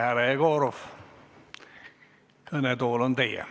Härra Jegorov, kõnetool on teie.